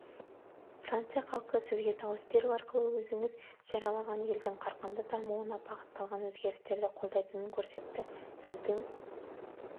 франция халқы сізге дауыс беру арқылы өзіңіз жариялаған елдің қарқынды дамуына бағытталған өзгерістерді қолдайтынын көрсетті сіздің